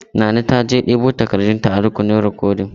Nana ta je dubo takardun ta a rukunin rikodin.